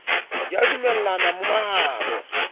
di a dumellana mo mahano